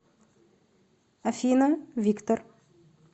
афина виктор